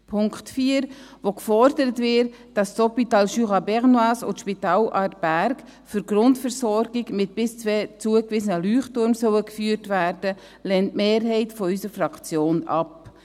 Den Punkt 4, in dem gefordert wird, dass das Hôpital du Jura bernois und das Spital Aarberg für die Grundversorgung mit bis zwei zugewiesenen Leuchttürmen geführt werden sollen, lehnt die Mehrheit unserer Fraktion ab.